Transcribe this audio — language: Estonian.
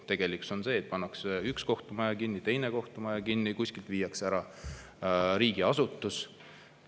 Tegelikkus on see, et pannakse üks kohtumaja kinni, teine kohtumaja kinni, kuskilt viiakse ära riigiasutus.